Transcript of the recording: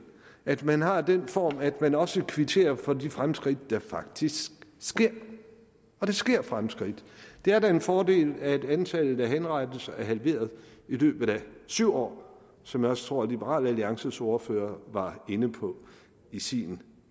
at man har den form at man også kvitterer for de fremskridt der faktisk sker og der sker fremskridt det er da en fordel at antallet af henrettelser er halveret i løbet af syv år som jeg også tror liberal alliances ordfører var inde på i sin